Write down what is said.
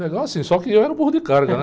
Legal assim, só que eu era o burro de carga, né?